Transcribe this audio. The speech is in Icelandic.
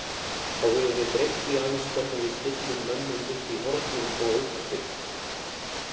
Þá höfum við breytt því aðeins hvernig við stillum mönnum upp í hornum og aukaspyrnum.